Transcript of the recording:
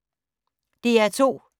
DR2